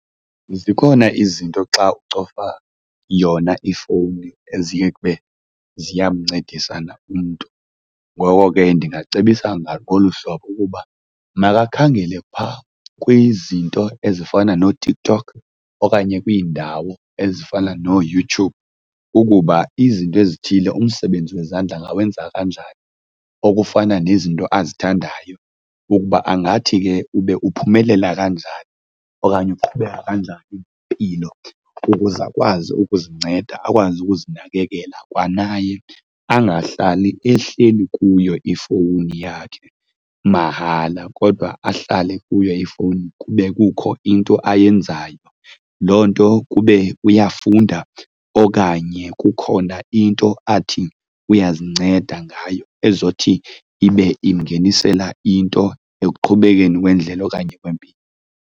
Zikhona izinto xa ucofa yona ifowuni eziye kube ziyamncedisa na umntu. Ngoko ke ndingamcebisa ngolu hlobo ukuba makakhangele phaa kwizinto ezifana nooTikTok okanye kwiindawo ezifana nooYouTube ukuba izinto ezithile, umsebenzi wezandla angawenza kanjani okufana nezinto azithandayo ukuba angathi ke ube uphumelela kanjani okanye ukuqhubeka kanjani impilo ukuze akwazi ukuzinceda, akwazi ukuzinakekela. Kwanaye angahlali ehleli kuyo ifowuni yakhe mahala kodwa ahlale kuyo ifowuni kube kukho into ayenzayo. Loo nto kube uyafunda okanye kukhona into athi uyazinceda ngayo ezothi ibe imingenisela into ekuqhubekeni kwendlela okanye kwempilo.